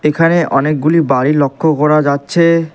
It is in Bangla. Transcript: এখানে অনেকগুলি বাড়ি লক্ষ্য করা যাচ্ছে।